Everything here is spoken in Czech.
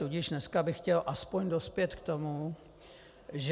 Tudíž dneska bych chtěl aspoň dospět k tomu, že...